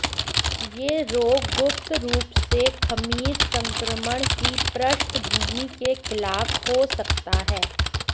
यह रोग गुप्त रूप से खमीर संक्रमण की पृष्ठभूमि के खिलाफ हो सकता है